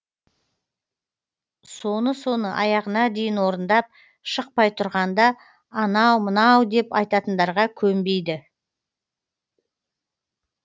соны соны аяғына дейін орындап шықпай тұрғанда анау мынау деп айтатындарға көнбейді